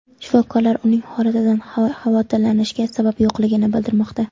Shifokorlar uning holatidan xavotirlanishga sabab yo‘qligini bildirmoqda.